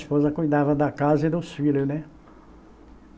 Esposa cuidava da casa e dos filhos, né?